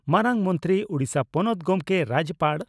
ᱢᱟᱨᱟᱝ ᱢᱚᱱᱛᱨᱤ ᱳᱰᱤᱥᱟ ᱯᱚᱱᱚᱛ ᱜᱚᱢᱠᱮ (ᱨᱟᱡᱭᱚᱯᱟᱲ)